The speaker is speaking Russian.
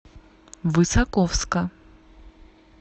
высоковска